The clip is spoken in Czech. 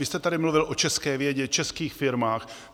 Vy jste tady mluvil o české vědě, českých firmách.